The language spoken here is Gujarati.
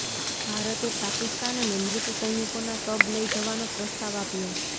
ભારતે પાકિસ્તાનને મૃત સૈનિકોનાં શબ લઇ જવાનો પ્રસ્તાવ આપ્યો